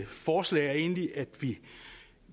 forslag er egentlig at